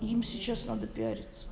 им сейчас надо пиариться